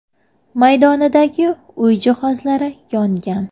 maydonidagi uy jihozlari yongan.